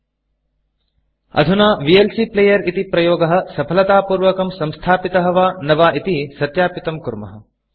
अधुना वीएलसी Playerविएल्सी प्लेयर् इति प्रयोगः सफलतापूर्वकं संस्थापितः वा न वा इति सत्यापितं कुर्मः